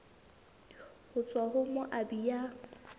ho tswa ho moabi ya